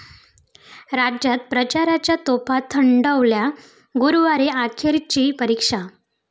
राज्यात प्रचाराच्या तोफा थंडावल्या, 'गुरु'वारी अखेरची 'परीक्षा'